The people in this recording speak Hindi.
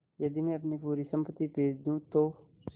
यदि मैं अपनी पूरी सम्पति बेच दूँ तो